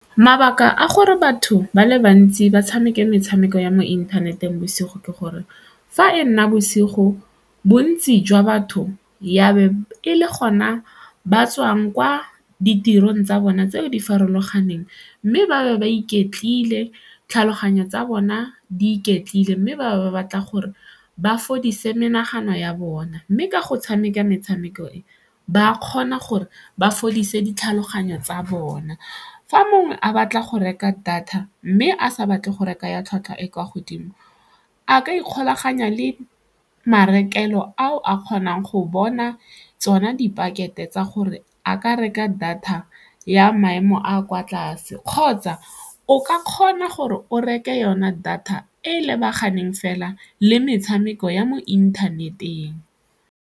Mabaka a gore batho ba le bantsi ba tshameke metshameko ya mo inthaneteng bosigo ke gore fa e nna bosigo bontsi jwa batho ya be e le gona ba tswang kwa ditirong tsa bona tseo di farologaneng mme ba ba ba iketlile, tlhaloganyo tsa bona di iketlile mme ba batla gore ba fodise menagano ya bona mme ka go tshameka metshameko e ba kgona gore ba fodise ditlhaloganyo tsa bona. Fa mongwe a batla go reka data mme a sa batle go reka ya tlhwatlhwa e kwa godimo a ka ikgolaganya le marekelong ao a kgonang go bona tsona dipakete tsa gore a ka reka data ya maemo a kwa tlase kgotsa o ka kgona gore o reke yona data e lebaganeng fela le metshameko ya mo inthaneteng.